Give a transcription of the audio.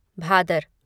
Bhadar